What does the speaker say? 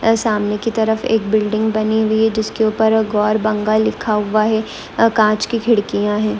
ए सामने की तरफ एक बिल्डिंग बनी हुई है जिसके उपर अ गौर बंग लिखा हुआ है आ कांच की खिड़कियां है।